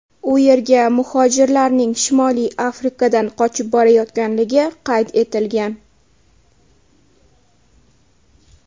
U yerga muhojirlarning Shimoliy Afrikadan qochib borayotganligi qayd etilgan.